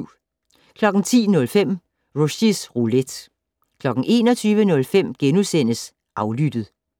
10:05: Rushys Roulette 21:05: Aflyttet *